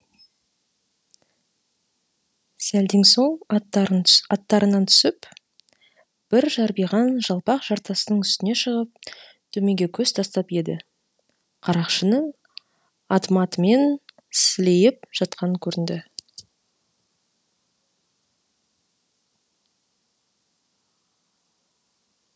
сәлден соң аттарынан түсіп бір жарбиған жалпақ жартастың үстіне шығып төменге көз тастап еді қарақшының ат матымен сілейіп жатқаны көрінді